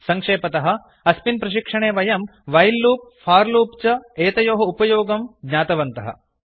सङ्क्षेपतः अस्मिन् प्रशिक्षणे वयं व्हिले लूप् फोर लूप् च एतयोः उपयोगं ज्ञातवन्तः